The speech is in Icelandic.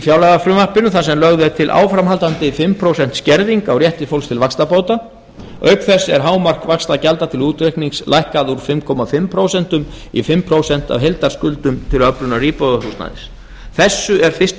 fjárlagafrumvarpinu þar sem lögð er til áframhaldandi fimm prósent skerðing á rétti fólks til vaxtabóta auk þess er hámark vaxtagjalda til útreiknings lækkað úr fimm og hálft prósent í fimm komma núll prósent af heildarskuldum til öflunar íbúðarhúsnæðis þessu er fyrsti minni